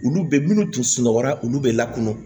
Olu bɛ minnu tun sunɔgɔ la olu bɛ lakɔnɔ